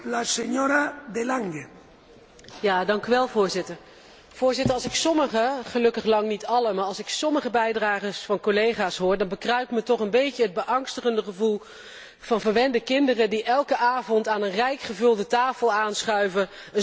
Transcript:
Voorzitter, als ik sommige gelukkig lang niet alle maar als ik sommige bijdragen van collega's hoor, dan bekruipt me toch een beetje het beangstigende gevoel alsof het gaat om verwende kinderen die elke avond aan een rijk gevulde tafel aanschuiven zonder zich af te vragen waar hun eten eigenlijk vandaan komt.